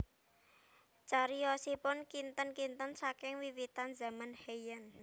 Cariyosipun kinten kinten saking wiwitan zaman Heian